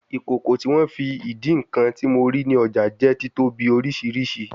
Ikoko ti won fi idi nkan ti mo rii ni ọja jẹ titobi oriṣiriṣi